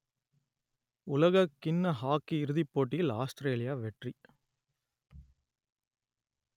உலகக்கிண்ண ஹாக்கி இறுதிப் போட்டியில் ஆஸ்திரேலியா வெற்றி